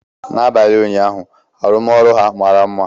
N'abalị ụnyaahụ, arụmọrụ ha mara mma.